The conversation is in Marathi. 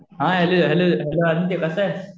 हा हॅलो हॅलो आदित्य. कसा आहेस?